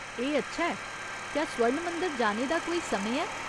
एह् अच्छा ऐ। क्या स्वर्ण मंदर जाने दा कोई समें ऐ?